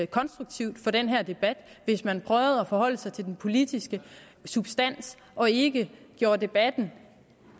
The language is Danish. konstruktivt for den her debat hvis man prøvede at forholde sig til den politiske substans og ikke gjorde debatten